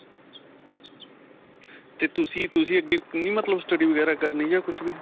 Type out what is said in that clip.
ਤੇ ਤੁਸੀਂ ਤੁਸੀਂ ਅੱਗੇ ਨਹੀਂ ਮਤਲੱਬ study ਵਗੈਰਾ ਕਰਨੀ ਜਾਂ ਕੁਝ ਵੀ.